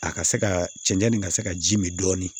A ka se ka cɛncɛn nin ka se ka ji min dɔɔnin